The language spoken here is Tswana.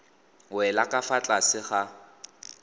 wela ka fa tlase ga